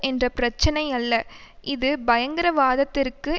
என்ற பிரச்சினை அல்ல இது பயங்கரவாதத்திற்கு